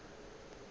ge a bona tšeo a